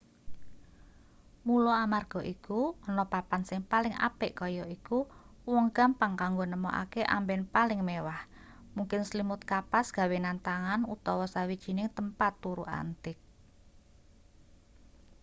mula amarga iku ana papan sing paling apik kaya iku uwong gampang kanggo nemokake amben paling mewah mungkin slimut kapas gawenan tangan utawa sawijining tempat turu antik